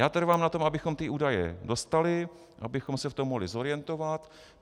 Já trvám na tom, abychom ty údaje dostali, abychom se v tom mohli zorientovat.